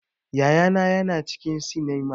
Yaya na ya na cikin sinima